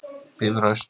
Bifröst